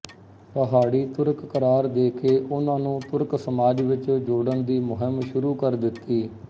ਪਹਾੜੀ ਤੁਰਕ ਕਰਾਰ ਦੇਕੇ ਉਨ੍ਹਾਂ ਨੂੰ ਤੁਰਕ ਸਮਾਜ ਵਿੱਚ ਜੋੜਨ ਦੀ ਮੁਹਿੰਮ ਸ਼ੁਰੂ ਕਰ ਦਿੱਤੀ